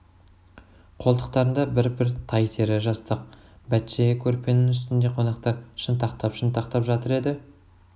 қолтықтарында бір-бір тай тері жастық бәтшайы көрпенің үстінде қонақтар шынтақтап-шынтақтап жатыр еді